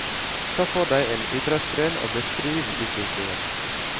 Ta for deg en idrettsgren og beskriv utviklingen.